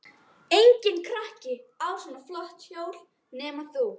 Enginn krakki á svona flott hjól nema þú.